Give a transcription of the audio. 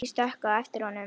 Ég stökk á eftir honum.